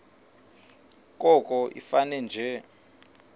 koko ifane nje